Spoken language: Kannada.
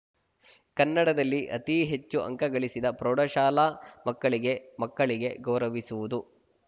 ಕನ್ನಡದಲ್ಲಿ ಅತೀ ಹೆಚ್ಚು ಅಂಕ ಗಳಿಸಿದ ಪ್ರೌಢಶಾಲಾ ಮಕ್ಕಳಿಗೆ ಮಕ್ಕಳಿಗೆ ಗೌರವಿಸುವುದು